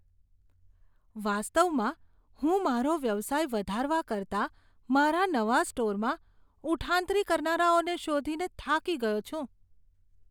વાસ્તવમાં હું મારો વ્યવસાય વધારવા કરતાં મારા નવા સ્ટોરમાં ઉઠાંતરી કરનારાઓને શોધીને થાકી ગયો છું.